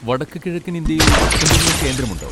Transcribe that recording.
വടക്കുകിഴക്കൻ ഇന്ത്യയിൽ എന്തെങ്കിലും കേന്ദ്രമുണ്ടോ?